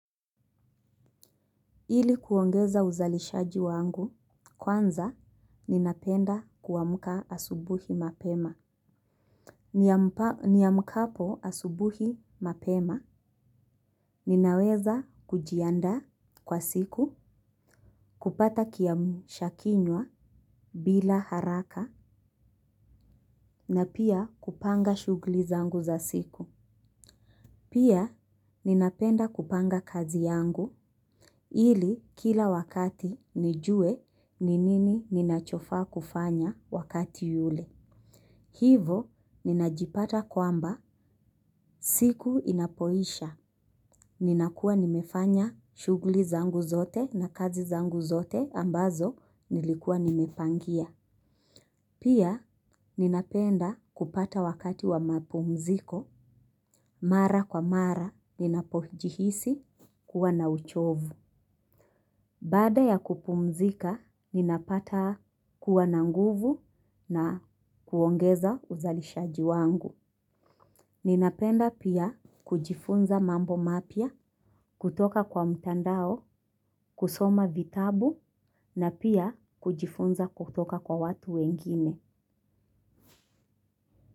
Ili kuongeza uzalishaji wangu, kwanza ninapenda kuamka asubuhi mapema. Niamkapo asubuhi mapema, ninaweza kujiandaa kwa siku, kupata kiamsha kinywa bila haraka, na pia kupanga shughuli zangu za siku. Pia, ninapenda kupanga kazi yangu ili kila wakati nijue ninini ninachofaa kufanya wakati yule. Hivo, ninajipata kwamba siku inapoisha. Ninakua nimefanya shughuli zangu zote na kazi zangu zote ambazo nilikua nimepangia. Pia ninapenda kupata wakati wa mapumziko, mara kwa mara ninapojihisi kuwa na uchovu. Baada ya kupumzika, ninapata kuwa na nguvu na kuongeza uzalishaji wangu. Ninapenda pia kujifunza mambo mapya, kutoka kwa mtandao, kusoma vitabu na pia kujifunza kutoka kwa watu wengine.